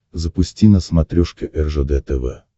запусти на смотрешке ржд тв